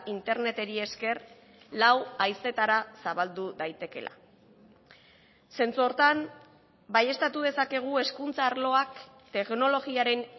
interneteri esker lau haizetara zabaldu daitekeela zentzu horretan baieztatu dezakegu hezkuntza arloak teknologiaren